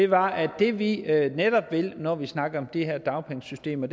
var at det vi netop vil når vi snakker det her dagpengesystem er